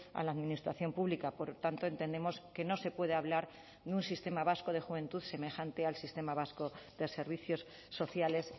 a la administración pública por tanto entendemos que no se puede hablar de un sistema vasco de juventud semejante al sistema vasco de servicios sociales